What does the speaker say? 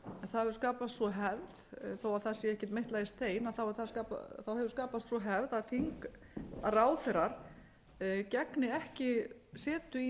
það hefur skapast sú hefð þó það sé ekki meitlað í stein hefur skapast sú hefð að ráðherrar gegni ekki setu í